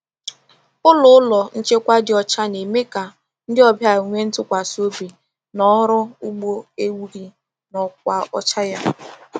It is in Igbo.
Ụlọ Ụlọ nchekwa dị ọcha na-eme ka ndị ọbịa nwee ntụkwasị obi na ọrụ ugbo ewu gị na ọkwa ọcha ya.